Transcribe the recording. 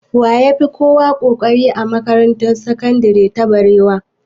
Wa ya fi kowa ƙoƙari a makarantar sakandire ta barewa?